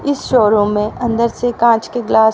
इस शोरूम में अंदर से कांच के ग्लास --